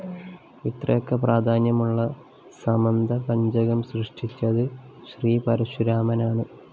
ഇത്രയൊക്കെ പ്രാധാന്യമുള്ള സമന്തപഞ്ചകം സൃഷ്ടിച്ചത്‌ ശ്രീപരശുരാമനാണ്‌